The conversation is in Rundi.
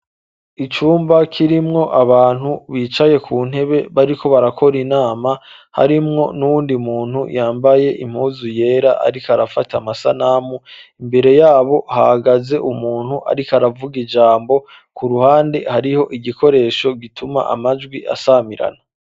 Icumba kirimwo abantu bicaye ku ntebe bariko barakora inama harimwo n'uyundi muntu yambaye impuzu yera ariko arafata amasanamu, imbere yabo hagaze umuntu ariko aravuga ijambo, ku ruhande hariho igikoresho gituma amajwi asamirana.